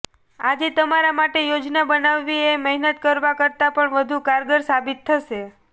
આજે તમારા માટે યોજના બનાવવી એ મહેનત કરવા કરતા પણ વધુ કારગર સાબિત થશે